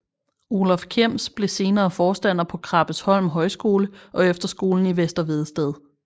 Olaf Kjems blev senere forstander på Krabbesholm Højskole og efterskolen i Vester Vedsted